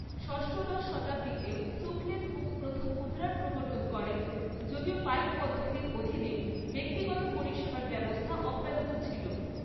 ষষ্ঠদশ শতাব্দীতে সুক্লেনমুং প্রথম মুদ্রার প্রবর্তন করেন, যদিও পাইক পদ্ধতির অধীনে ব্যক্তিগত পরিষেবার ব্যবস্থা অব্যাহত ছিল।